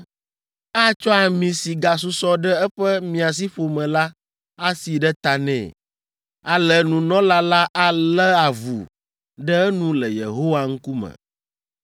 Atsɔ ami si gasusɔ ɖe eƒe miasiƒome la asi ɖe ta nɛ. Ale nunɔla la alé avu ɖe enu le Yehowa ŋkume.